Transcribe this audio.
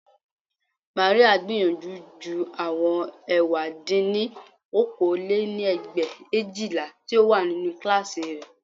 Màríà gbìyànjú ju àwọn ẹ̀wá dín ní okòó lé-ní ẹgbẹ̀éjìlá tí ó wà nínú kíláàsì rẹ̀